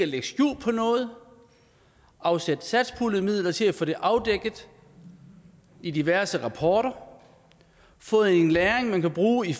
lægge skjul på noget afsætte satspuljemidler til at få det afdækket i diverse rapporter og få en læring man kan bruge i